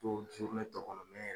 Dow tɔ kɔnɔ me yɛrɛ